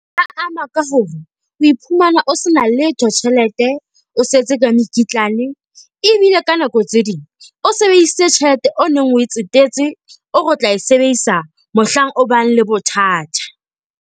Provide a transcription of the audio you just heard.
Ama ka hore o iphumana o se na letho tjhelete. O setse ka mekitlane, ebile ka nako tse ding o sebedisitse tjhelete o neng o e tsetetse o re o tla e sebedisa mohlang o bang le bothata.